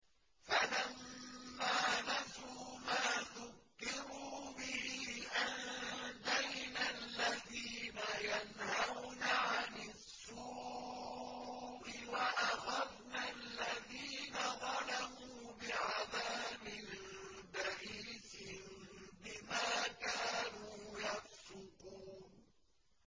فَلَمَّا نَسُوا مَا ذُكِّرُوا بِهِ أَنجَيْنَا الَّذِينَ يَنْهَوْنَ عَنِ السُّوءِ وَأَخَذْنَا الَّذِينَ ظَلَمُوا بِعَذَابٍ بَئِيسٍ بِمَا كَانُوا يَفْسُقُونَ